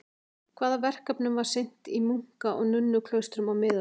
Hvaða verkefnum var sinnt í munka- og nunnuklaustrum á miðöldum?